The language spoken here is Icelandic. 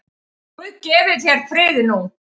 Guð gefi þér frið nú.